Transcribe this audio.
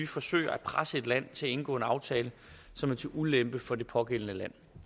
forsøge at presse et land til at indgå en aftale som er til ulempe for det pågældende land